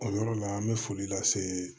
O yɔrɔ la an bɛ foli lase